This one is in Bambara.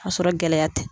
Ka sɔrɔ gɛlɛya tɛ